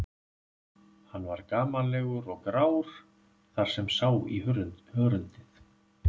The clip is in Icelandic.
Hann var gamallegur og grár þar sem sá í hörundið.